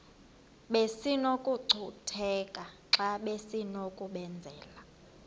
besinokucutheka xa besinokubenzela